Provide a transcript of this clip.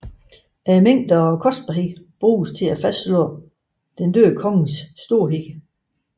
Mængden og kostbarheden bruges til at fastslå den døde konges storhed